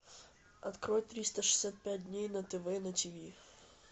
открой триста шестьдесят пять дней на тв на тв